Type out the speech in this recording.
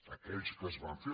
aquells que es van fer